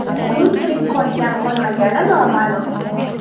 Uning tirik qolgan-qolmagani noma’lum.